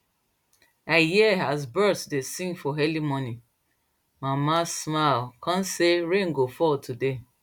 i hear as birds dey sing for early morning mama smile come say rain go fall today